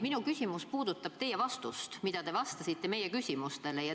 Minu küsimus puudutab teie vastust, mida te vastasite meie küsimustele.